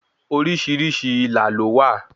Orísìírísìí ilà ló wà